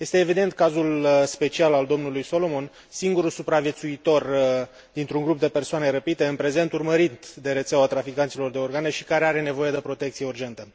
Este evident cazul special al dlui Solomon, singurul supraviețuitor dintr un grup de persoane răpite, în prezent urmărit de rețeaua traficanților de organe și care are nevoie de protecție urgentă.